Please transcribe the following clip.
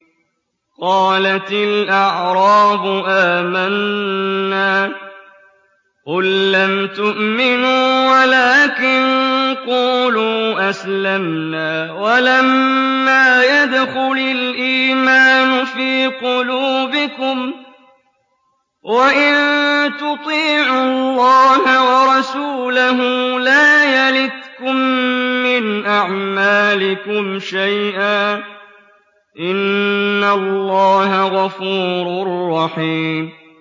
۞ قَالَتِ الْأَعْرَابُ آمَنَّا ۖ قُل لَّمْ تُؤْمِنُوا وَلَٰكِن قُولُوا أَسْلَمْنَا وَلَمَّا يَدْخُلِ الْإِيمَانُ فِي قُلُوبِكُمْ ۖ وَإِن تُطِيعُوا اللَّهَ وَرَسُولَهُ لَا يَلِتْكُم مِّنْ أَعْمَالِكُمْ شَيْئًا ۚ إِنَّ اللَّهَ غَفُورٌ رَّحِيمٌ